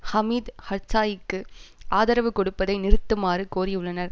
ஹமித் ஹர்சாயிக்கு ஆதரவு கொடுப்பதை நிறுத்துமாறு கோரியுள்ளனர்